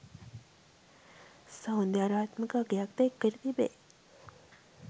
සෞන්දර්යාත්මක අගයක්ද එක් කර තිබේ.